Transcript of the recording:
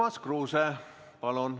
Urmas Kruuse, palun!